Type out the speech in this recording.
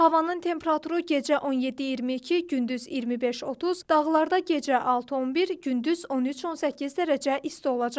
Havanın temperaturu gecə 17-22, gündüz 25-30, dağlarda gecə 6-11, gündüz 13-18 dərəcə isti olacaq.